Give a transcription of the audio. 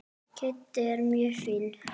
Kiddi er mjög fínn.